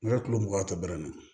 N ka kulo mugan tɔ bɛrɛ